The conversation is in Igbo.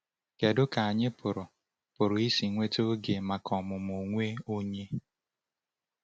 Kedu ka anyị pụrụ pụrụ isi nweta oge maka ọmụmụ onwe onye?